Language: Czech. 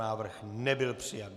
Návrh nebyl přijat.